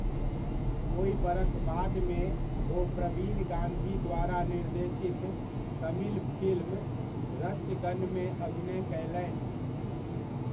ओहि बरख बादमे, ओ प्रवीण गाँधी द्वारा निर्देशित तमिल फिल्म रच्चगनमे अभिनय कयलनि।